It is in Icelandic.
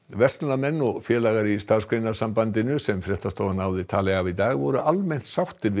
verslunarmenn og félagar í Starfsgreinasambandinu sem fréttastofa náði tali af í dag voru almennt sáttir við